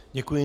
Děkuji.